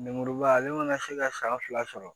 Lemuruba ale mana se ka san fila sɔrɔ